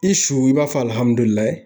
I su i b'a fɔ